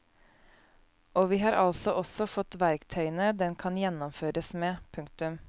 Og vi har altså også fått verktøyene den kan gjennomføres med. punktum